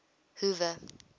hoover